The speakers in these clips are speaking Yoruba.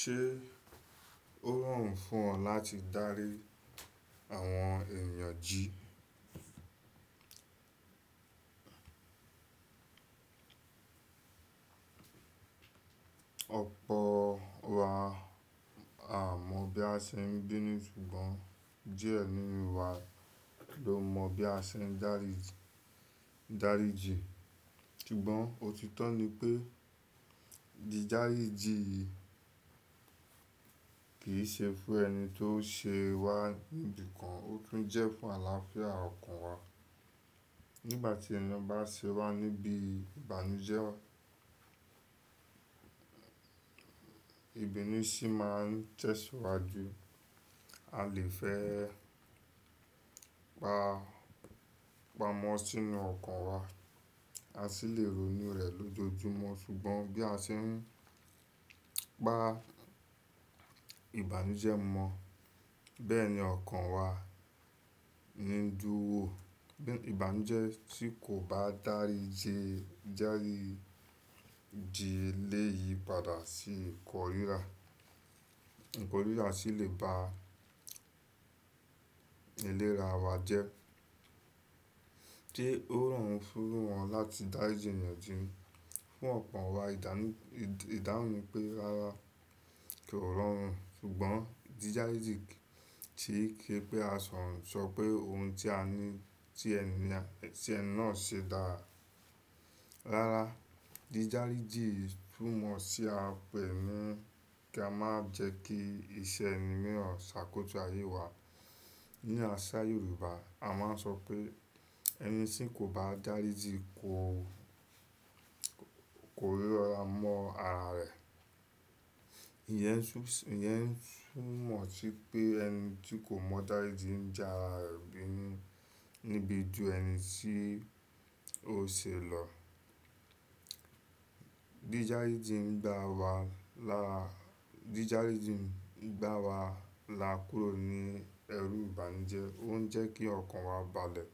Ṣé ó rọrùn fún ọ láti dárí àwọn èèyàn jí? Ọ̀pọ̀ wa a mọ bí a ṣe ń binu ṣùgbọ́n díẹ̀ nínú wa ló mọ bí a ṣe ń dárí, dáríjin. Ṣùgbọ́n òtítọ́ ni pé, ídáríjin yìí kì í ṣe fún ẹni tó ṣe wá níbí kan, ó tún jẹ́ fún àlàáfíà ọkàn wa. Nígbà tí ẹni bá ṣe wá níbi ìbànújẹ́, ibinu sì máa ń tẹ̀síwájú. A lè fẹ́ pa, pamọ́ sínú ọkàn wa, a sì lè ronú rẹ̀ lójoojúmọ́. Ṣùgbọ́n bí a ṣe ń pa ìbànújẹ́ mọ̀, bẹ́ẹ̀ ni ọkàn wa ń dúró. Ìbànújẹ́ tí kò bá dárí jẹ, dáríjin elèyí padà sí ìkóríra. Ìkóríra sì lè bá eléra wa jẹ́. Sé ó rọrùn fún wọn láti dáríji èèyàn jí? Fún ọ̀pọ̀ wa ìdáhún, ìdáhùn ni pé rárá, ko rọrùn. Ṣùgbọ́n dídáríjin kì í kí pé a kan sọ pé ohun tí a ní, tí ẹni náà ṣe dára. Rárá, dídáríjin tún mọ̀ sí àpẹ̀ ni kí a má jẹ́ kí iṣẹ́ ẹni mìíràn ṣàkótó ayé wa. Ní àṣà Yorùbá a máa ń sọ pé ẹni tí kò bá dáríjin kò, kò rí lọ́la mọ́ ara rẹ̀. Ìyẹn tún, ìyẹn tún mọ̀ sí pé ẹni tí kò mọ dárijin ń já ara rẹ̀ bí ní, níbi ju ẹni tí ó ṣe lọ. Dídáríjin ń gbáwa lá, dídáríjin ń gbáwa lá kuró ní ẹrù ìbànújẹ́, ó ń jẹ́ kí ọkàn wa balẹ̀.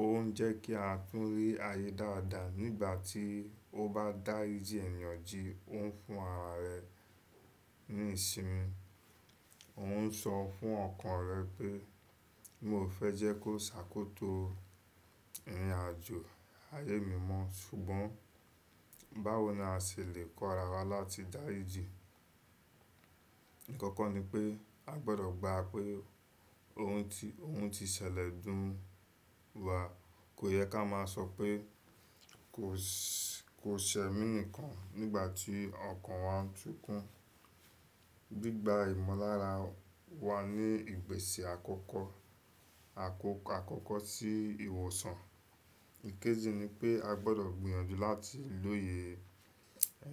Ó ń jẹ́ kí a tún rí ayé dáadáa. Nígbà tí ó bá dáríjin èèyàn jí ó ń fún ara rẹ̀ ní ìsinmi. Ó ń sọ fún ọkàn rẹ̀ pé mi ò fẹ́ jẹ́ kó ṣàkótó ìrìn àjò ayé mi mọ́. Ṣùgbọ́n báwo ni a ṣè lè kọ ara wa láti dáríjin? Àkọ́kọ́ ni pé a gbọdọ̀ gbá pé ohun ti, ohun ti ṣẹlẹ̀ dùn wa. Kò yẹ ká máa sọ pé kò ṣẹ, kò ṣẹ mí nìkan nígbà tí ọkàn wa ń súkún. Gbigba ìmọ̀lára wa ní ìpèsè àkọ́kọ́, àkọ́kọ́ sí ìwòsàn. Ìkéjì ni pé a gbọdọ̀ gbìyànjú láti lóye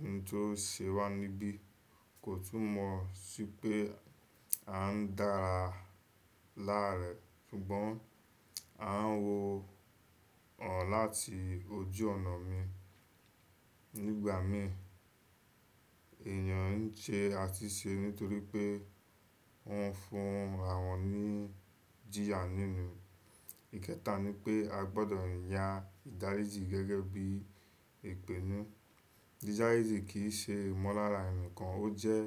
ẹni tó ṣe wá níbí kò tún mọ̀ sí pé à ń dára láàárẹ. Ṣùgbọ́n a ń wo ọ̀n láti ojú ọ̀nà mi. Nígbà mìí èèyàn ń ṣe àtúnṣe nítorí pé wọ́n fún àwọn ní jìyà nínú. Ìkẹta ni pé a gbọdọ̀ yàn ìdáríji gẹ́gẹ́ bí ìpinnu. Dídáríjin kì í ṣe ìmọ̀lára ẹni kan, ó jẹ́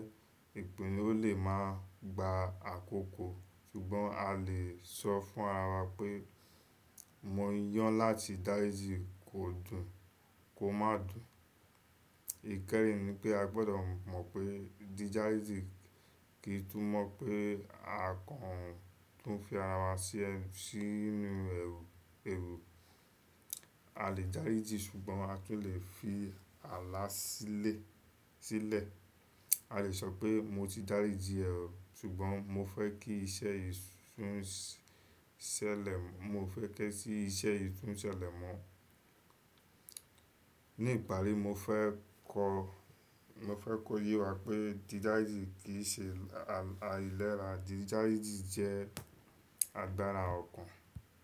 ìpinnu ó lè máa gba àkókò. Ṣùgbọ́n a lè sọ fún ara wa pé mo yán láti dáríjin kò dùn, kò máa dùn. Ìkẹ́rìn ni pé a gbọdọ̀ mọ̀ pé dídáríji kì í tún mọ̀ pé a kan tún fi ara wa sí, sínú ẹrù, ẹrù. A lè dáríjin ṣùgbọ́n a tún lè fi àalà sílẹ̀, sílẹ̀. A lè sọ pé mo ti dáríjin ṣùgbọ́n mo fẹ́ kí iṣẹ́ yìí sún, ṣẹlẹ̀, mo fẹ́ kí iṣẹ́ yìí sún ṣẹlẹ̀ mọ. Ní ìparí mo fẹ́ kọ, mo fẹ́ kó ye wa pé dídáríjin kì í ṣe àìlera, dídáríjin jẹ́ àgbára ọkàn.